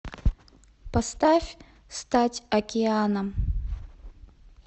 поставь стать океаном